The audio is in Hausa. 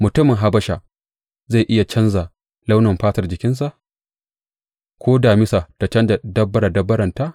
Mutumin Habasha zai iya canja launin fatar jikinsa ko damisa ta canja dabbare dabbarenta?